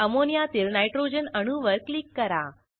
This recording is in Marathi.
अमोनियातील नायट्रोजन अणूवर क्लिक करा